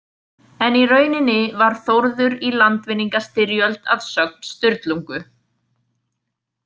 En í rauninni var Þórður í landvinningastyrjöld að sögn Sturlungu.